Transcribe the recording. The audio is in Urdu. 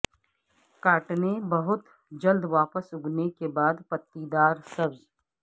کاٹنے بہت جلد واپس اگنے کے بعد پتیدار سبز